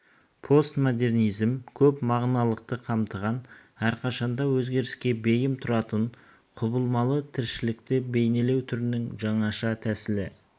постмодернизм көп мағыналықты қамтыған әрқашанда өзгеріске бейім тұратын құбылмалы тіршілікті бейнелеу түрінің жаңаша тәсілі